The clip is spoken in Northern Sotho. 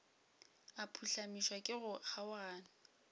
a phuhlamišwa ke go kgaogana